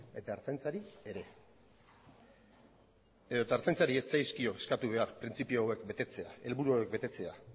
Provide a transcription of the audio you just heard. eta ertzaintzari ere edota ertzaintzari ez zaizkio eskatu behar printzipio hauek betetzea helburu hauek betetzea